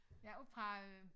Ja oppe fra øh